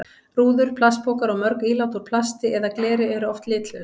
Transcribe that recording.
Rúður, plastpokar og mörg ílát úr plasti eða gleri eru oft litlaus.